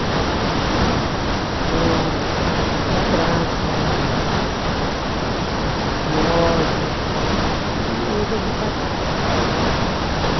Dois. Eu tinha a minha madrasta, era uma relação assim meio que contu, conflituosa, e resolvi casar, tá?